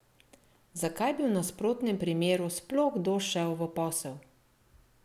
Zakaj bi v nasprotnem primeru sploh kdo šel v posel?